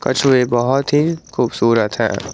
कछुए बहोत ही खूबसूरत है।